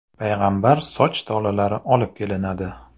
payg‘ambar soch tolalari olib kelinadi.